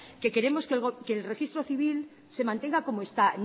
queremos que el registro civil se mantenga como está